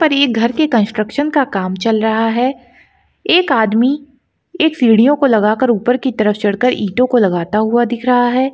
पर एक घर के कंस्ट्रक्शन का काम चल रहा है एक आदमी एक सीडीओ को लगाकर ऊपर की तरफ चढ़कर आईटीओ को लगता हुआ दिख रहा है।